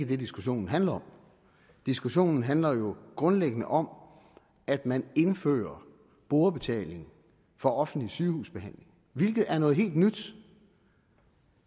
det diskussionen handler om diskussionen handler jo grundlæggende om at man indfører brugerbetaling for offentlig sygehusbehandling hvilket er noget helt nyt